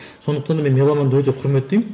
сондықтан да мен меломанды өте құрметтеймін